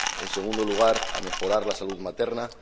en segundo lugar, a mejorar la salud materna